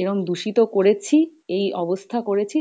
এরম দুষিত করেছি এই অবস্থা করেছি